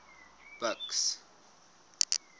buks